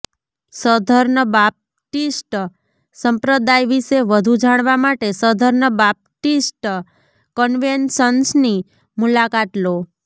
southern Baptist સંપ્રદાય વિશે વધુ જાણવા માટે સધર્ન બાપ્ટીસ્ટ કન્વેન્શનની મુલાકાત લો